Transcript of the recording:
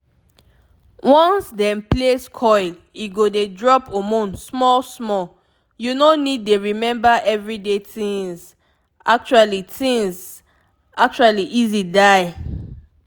once dem place coil e go dey drop hormone small small— you no need dey remember everyday things actually things actually easy die!